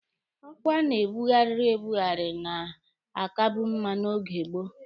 Ọkwa a na-ebughari ebughari na-akabu mma n'oge gboo